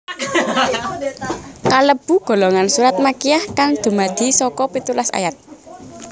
Kalebu golongan surat Makkiyah kang dumadi saka pitulas ayat